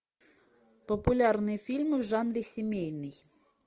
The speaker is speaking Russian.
популярные фильмы в жанре семейный